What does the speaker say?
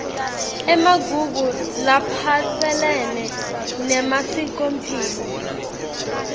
emagugu laphatselene nemasikomphilo